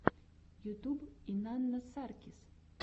ютьюб инанна саркис